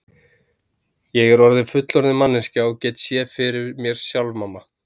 Ég er orðin fullorðin manneskja og get séð fyrir mér sjálf mamma.